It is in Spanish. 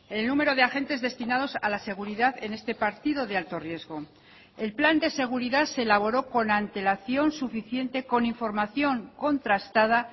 el número de agentes destinados a la seguridad en este partido de alto riesgo el plan de seguridad se elaboró con antelación suficiente con información contrastada